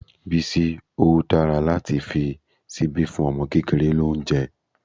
Bísí, ó dára láti fi ṣíbí fún ọmọ kékeré lóúnjẹ́.